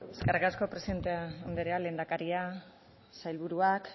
eskerrik asko presidente anderea lehendakaria sailburuak